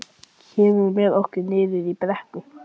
Kemurðu með okkur niður í brekku?